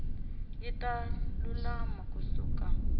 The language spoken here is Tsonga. yi ta lulama ku suka